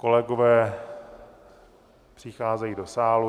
Kolegové přicházejí do sálu.